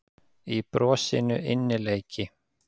Í brosinu innileiki.